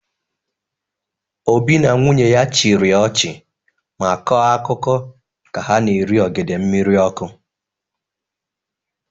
Obi na nwunye ya chịrị ọchị ma kọọ akụkọ ka ha na-eri ogede mmiri ọkụ.